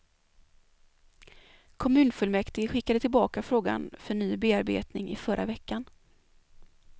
Kommunfullmäktige skickade tillbaka frågan för ny bearbetning i förra veckan.